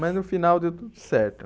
Mas no final deu tudo certo.